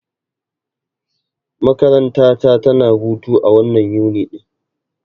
Makaranta ta tana hutu a wannan Yuni ɗin.